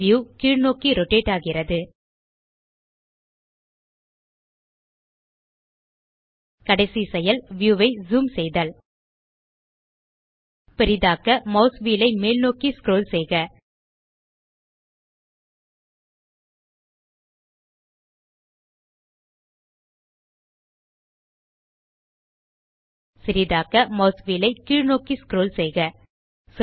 view கீழ்நோக்கி rotate ஆகிறது கடைசி செயல் வியூ ஐ ஜூம் செய்தல் பெரிதாக்க மாஸ் வீல் ஐ மேல்நோக்கி ஸ்க்ரோல் செய்க சிறிதாக்க மாஸ் வீல் ஐ கீழ்நோக்கி ஸ்க்ரோல் செய்க